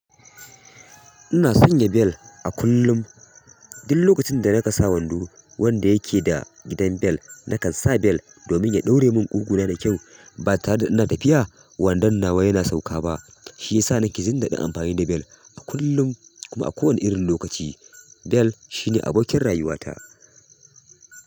Ina son ya bell a kullum. Duk lokacin da na ka sa wando wanda yake da gidan bell, na kan sa bell domin ya ɗaure mun ƙugu na da kyau. Ba tare da ina tafiya wandon nawa yana sauka ba. Shi ya sa na ke jin daɗin amfani da bell kullum kuma a kowane irin lokaci. Bell shi ne abokin rayuwata.